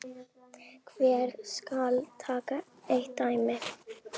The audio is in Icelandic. Hér skal tekið eitt dæmi.